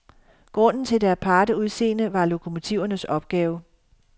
Grunden til det aparte udseende var lokomotivernes opgave.